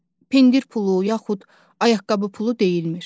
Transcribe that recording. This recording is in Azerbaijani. Məsələn, pendir pulu, yaxud ayaqqabı pulu deyilmir.